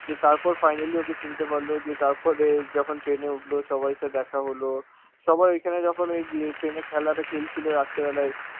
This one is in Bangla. দিয়ে তারপর finally ওকে চিনতে পারল, দিয়ে তারপরে যখন train এ উঠলো, সবাই সাথে দেখা হল, সবাই ওইখানে যখন এই ইয়ে train এ খেলাটা খেলছিল রাত্রিবেলায়,